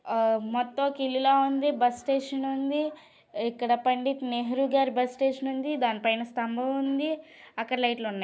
మొత్తం ఒక ఇల్లు ఎలా ఉంది. బస్ స్టేషన్ ఉంది. ఇక్కడ పండిట్ నెహ్రూ గారి బస్ స్టేషన్ ఉంది. దానిపైన స్తంభం ఉంది. అక్కడ లైట్ లు ఉన్నాయి.